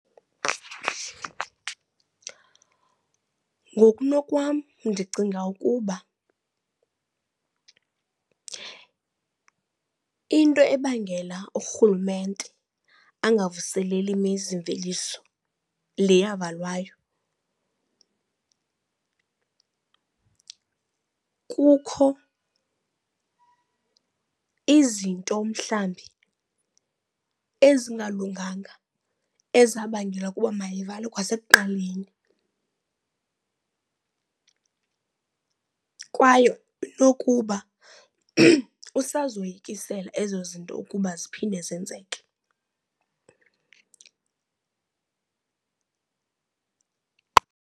Ngokunokwam ndicinga ukuba into ebangela urhulumente angavuseleli imizimveliso le yavalwayo kukho izinto mhlawumbi ezingalunganga ezabangela ukuba mayivalwe kwasekuqaleni. Kwaye inokuba usazoyikisela ezo zinto ukuba ziphinde zenzeke.